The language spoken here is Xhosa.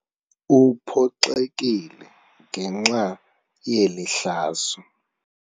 Uphoxekile ngenxa yeli hlazo.